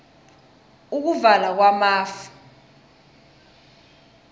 ukuvala kwamafu